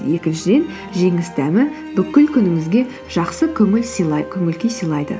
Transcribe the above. екіншіден жеңіс дәмі бүкіл күніңізге жақсы көңіл күй сыйлайды